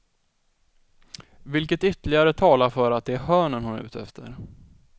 Vilket ytterligare talar för att det är hörnen hon är ute efter.